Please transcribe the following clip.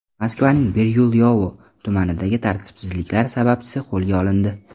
Moskvaning Biryulyovo tumanidagi tartibsizliklar sababchisi qo‘lga olindi.